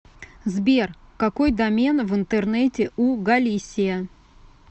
сбер какой домен в интернете у галисия